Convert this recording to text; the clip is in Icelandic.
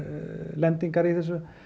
lendingar í þessu